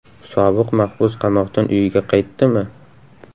Sobiq mahbus qamoqdan uyiga qaytdimi?